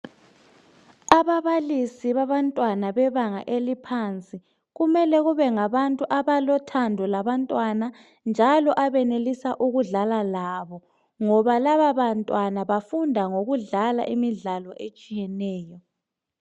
Ababalisi babantwana bebanga eliphansi kumele kube ngabantu abalothando labantwana njalo abenelisa ukudlala labo ngoba laba bantwana bafunda ngokudlala imidlalo etshiyeneyo.